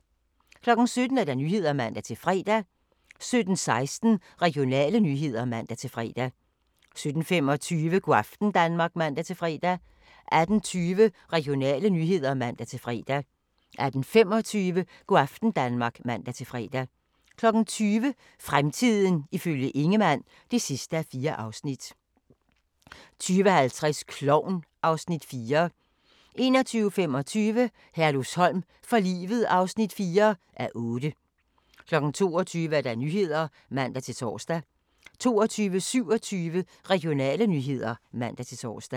17:00: Nyhederne (man-fre) 17:16: Regionale nyheder (man-fre) 17:25: Go' aften Danmark (man-fre) 18:20: Regionale nyheder (man-fre) 18:25: Go' aften Danmark (man-fre) 20:00: Fremtiden ifølge Ingemann (4:4) 20:50: Klovn (Afs. 4) 21:25: Herlufsholm for livet (4:8) 22:00: Nyhederne (man-tor) 22:27: Regionale nyheder (man-tor)